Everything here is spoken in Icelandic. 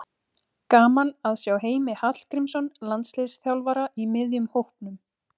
Gaman að sjá Heimi Hallgrímsson landsliðsþjálfara í miðjum hópnum.